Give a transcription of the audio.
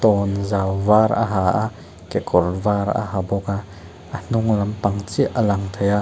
tawnzau var a ha a kekawr var a ha bawk a a hnunglampang chiah a lang thei a.